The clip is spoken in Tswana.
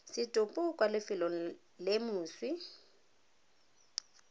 setopo kwa lefelong le moswi